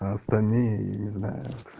а остальные не знаю